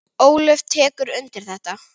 Ólöf tekur undir þetta.